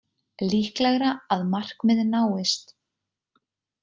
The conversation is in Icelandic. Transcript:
Líklegra að markmið náist